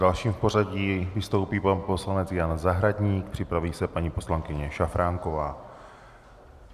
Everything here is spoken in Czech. Další v pořadí vystoupí pan poslanec Jan Zahradník, připraví se paní poslankyně Šafránková.